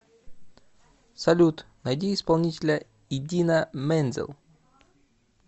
салют найди исполнителя идина мензел